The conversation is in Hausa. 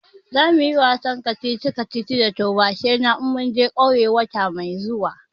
Zamuyi wasan kacici kacici da taubashai na in mun je ƙauye wata mai zuwa